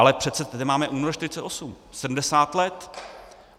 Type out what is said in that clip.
Ale přece tady máme únor 1948, 70 let.